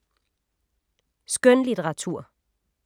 Skønlitteratur